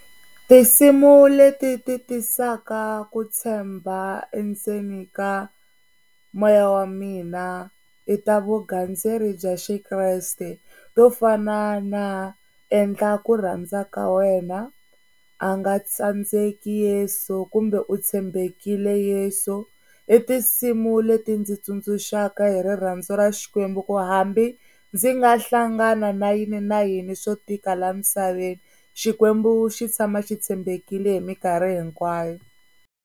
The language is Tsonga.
Tinsimu leti ti tisaka ku tshemba endzeni ka moya wa mina i ta vugandzeri bya xiKreste to fana na, endla ku rhandza ka wena, a nga tsandzeki Yeso kumbe u tshembekile Yeso. I tinsimu leti ndzi tsundzuxaka hi rirhandzu ra Xikwembu, ku hambi ndzi nga hlangana na yini na yini swo tika laha misaveni Xikwembu xi tshama xi tshembekile hi mikarhi hinkwayo.